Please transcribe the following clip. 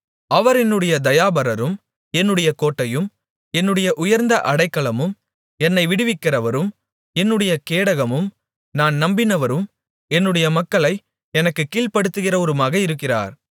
அவர் என்னுடைய தயாபரரும் என்னுடைய கோட்டையும் என்னுடைய உயர்ந்த அடைக்கலமும் என்னை விடுவிக்கிறவரும் என்னுடைய கேடகமும் நான் நம்பினவரும் என்னுடைய மக்களை எனக்குக் கீழ்ப்படுத்துகிறவருமாக இருக்கிறார்